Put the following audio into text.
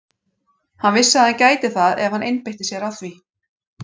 Hann vissi að hann gæti það ef hann einbeitti sér að því.